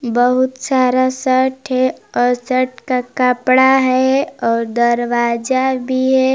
बहुत सारा शर्ट है और शर्ट का कपड़ा है और दरवाजा भी है ।